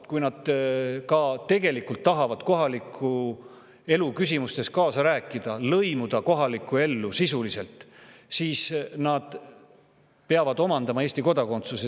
Kui nad tegelikult ka tahavad kohaliku elu küsimustes kaasa rääkida, lõimuda kohalikku ellu sisuliselt, siis nad peavad omandama Eesti kodakondsuse.